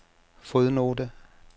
fodnote